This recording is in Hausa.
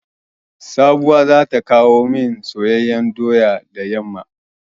Sabuwa za ta kowo mani soyayyan doya da yamma.